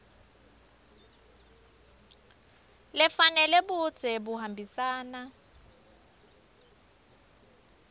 lefanele budze buhambisana